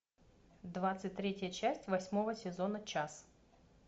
двадцать третья часть восьмого сезона час